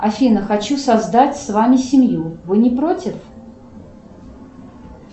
афина хочу создать с вами семью вы не против